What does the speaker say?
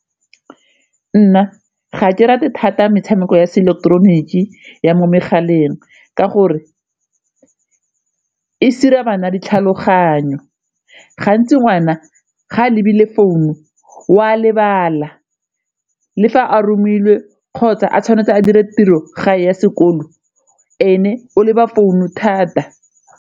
Nna ga ke rate thata metshameko ya seileketeroniki ya mo megaleng ka gore e sira bana ditlhaloganyo, gantsi ngwana ga a lebile founu o a lebala le fa a romilwe kgotsa a tshwanetse a dire tiro gae ya sekolo ene o leba founu thata.